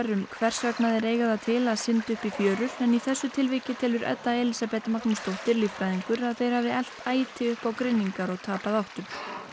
um hvers vegna þeir eiga það til að synda upp í fjörur en í þessu tilviki telur Edda Elísabet Magnúsdóttir líffræðingur að þeir hafi elt æti upp á grynningar og tapað áttum